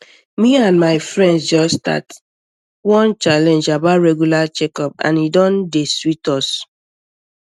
me and my friends just start um one challenge about regular checkup and e don um dey sweet us